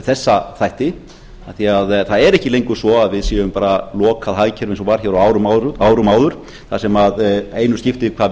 þessa þætti af því að það er ekki lengur svo að við séum bara að loka á hagkerfi eins og var hér á árum áður þar sem einu skipti hvað